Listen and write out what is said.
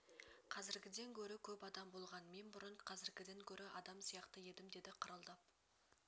қазіргіден гөрі көп адам болған мен бұрын қазіргіден гөрі адам сияқты едім деді қырылдап